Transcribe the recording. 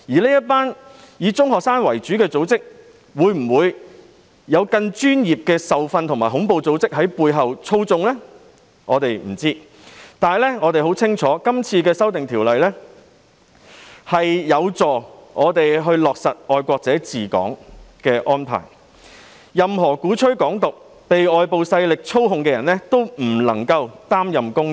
這個以中學生為主的組織有否更專業的受訓和恐怖組織在背後操縱，我們不得而知，但我們很清楚《條例草案》有助落實"愛國者治港"的安排，令任何鼓吹"港獨"、被外部勢力操控的人不能夠擔任公職。